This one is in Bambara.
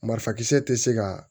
Marifakisɛ tɛ se ka